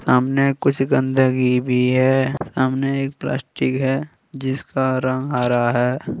सामने कुछ गंदगी भी है सामने एक प्लास्टिक है जिसका रंग हरा है।